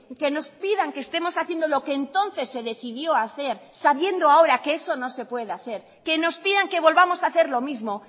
que nos pidan que estemos haciendo lo que entonces se decidió hacer sabiendo ahora que eso no se puede hacer que nos pidan que volvamos a hacer lo mismo